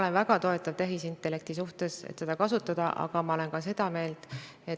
Selle käigus loodame ka meile eesmärgiks seatud innovaatilised tegevused viia ilusti vastavusse sellega, millised on meile pandud ootused.